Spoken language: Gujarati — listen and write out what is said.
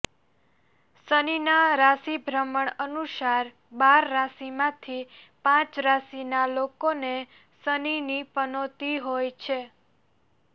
શનિના રાશિ ભ્રમણ અનુસાર બાર રાશિમાંથી પાંચ રાશિના લોકોને શનિની પનોતી હોય છે